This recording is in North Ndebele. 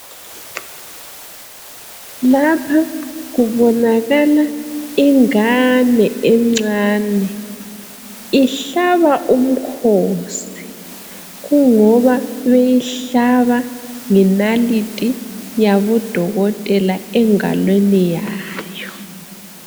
lapha kubonakala ingane encane ihlaba umkhosi kungoba beyihlaba ngenalithi yabodokotela engalweni yayo